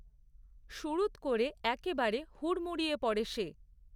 সুড়ুৎ করে একেবারে হুড়মুড়িয়ে পড়ে সে।